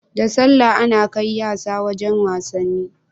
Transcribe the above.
Da sallah Ana kai yasa wajan wasanni